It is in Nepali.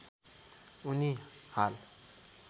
उनी हाल